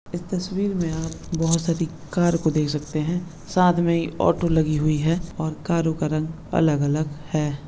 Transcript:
ईस तस्वीर में आप बहुत सारी कार को देख सकते है साथ में ऑटो लगी हुई है और कारों का रंग अलग-अलग है।